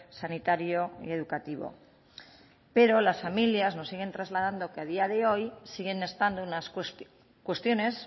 sanitario y educativo pero las familias nos siguen trasladando que a día de hoy siguen estando unas cuestiones